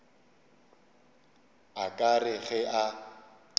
a ka re ge a